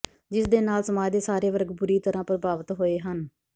ਜਿਸਦੇ ਨਾਲ ਸਮਾਜ ਦੇ ਸਾਰੇ ਵਰਗ ਬੁਰੀ ਤਰਾਂ ਪ੍ਰਭਾਵਿਤ ਹੋਏ ਹਨ